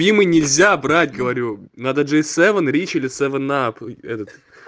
им и нельзя брать говорю надо джей севен рич или севен ап этот